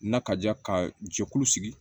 Na ka ja ka jɛkulu sigi